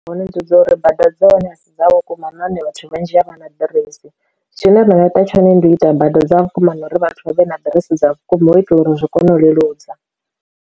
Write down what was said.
Hone ndi dza uri bada dza hone a si dza vhukuma na hone vhathu vhanzhi a vha na ḓiresi, zwine ra nga ita tshone ndi u ita bada dza vhukuma na uri vhathu vha vhe na ḓiresi dza vhukuma hu u itela uri zwi kone u leludza.